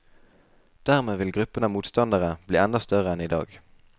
Dermed vil gruppen av motstandere bli enda større enn i dag.